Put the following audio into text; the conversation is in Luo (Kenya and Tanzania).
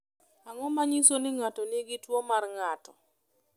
Ang’o ma nyiso ni ng’ato nigi tuwo mar ng’ato?